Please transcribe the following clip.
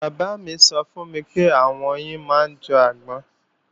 Bàbá mí sọ fún mi pé àwọn oyin máa ń jọ agbọ́n